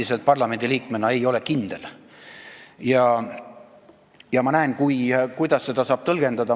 Ma parlamendiliikmena endiselt ei tea seda kindlalt ja näen, kuidas seda saab tõlgendada.